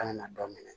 An kana dɔ minɛ